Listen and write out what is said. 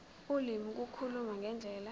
ulimi ukukhuluma ngendlela